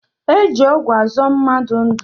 E ji ọgwụ azọ mmadụ ndu